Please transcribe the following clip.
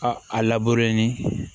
A a labure ni